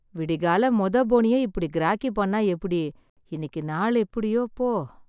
விடிகாலை மொத போனியே இப்படி கிராக்கி பண்ணா எப்படி? இன்னிக்கு நாள் எப்படியோ போ.